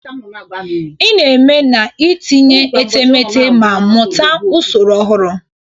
Ị na-eme n'itinye etemeete ma mụta usoro ọhụrụ.